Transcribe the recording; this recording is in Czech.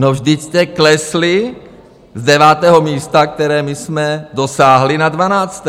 No, vždyť jste klesli z devátého místa, které my jsme dosáhli, na dvanácté.